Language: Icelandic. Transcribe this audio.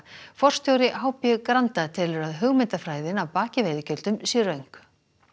forstjóri h b Granda telur að hugmyndafræðin að baki veiðigjöldum sé röng